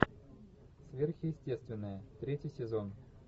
сверхъестественное третий сезон